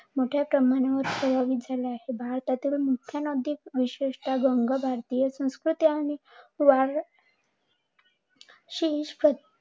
मोठ्या प्रमाणावर प्रभावित झाल्या आहे. भारतातील मुख्य नदी विशेषतः गंगा, भारतीय संस्कृती आणि